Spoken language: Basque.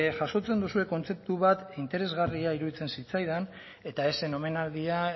jasotzen duzue kontzeptu bat interesgarria iruditzen zitzaidan eta ez zen omenaldia